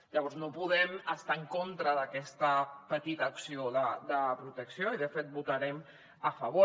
llavors no podem estar en contra d’aquesta petita acció de protecció i de fet hi votarem a favor